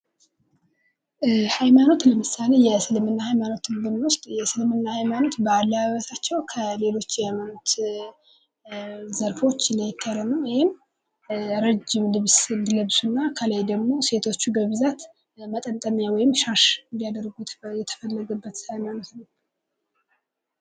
ሀይማኖት ለምሳሌ የእስልምና ሀይማኖትን ብንወስድ የእስልምና ሀይማኖት በአለባበሳቸው ከ ሌሎች የሀይማኖት ዘርፎች ለየት ያለ ነው። ይህም ረጅም ልብስ እንዲለብሱ ከላይ ደግሞ ሴቶቹ በብዛት መጠምጠሚያ ወይም ሻሽ እንዲያድረጉ የተፈለገበት ሀይማኖት ነው።